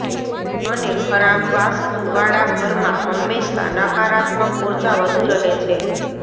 અને ખરાબ વાસ્તુ વાળા ઘરમાં હંમેશા નકારાત્મક ઉર્જા વધુ રહે છે